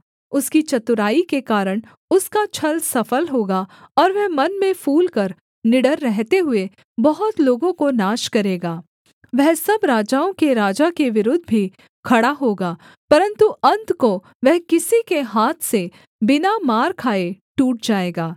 उसकी चतुराई के कारण उसका छल सफल होगा और वह मन में फूलकर निडर रहते हुए बहुत लोगों को नाश करेगा वह सब राजाओं के राजा के विरुद्ध भी खड़ा होगा परन्तु अन्त को वह किसी के हाथ से बिना मार खाए टूट जाएगा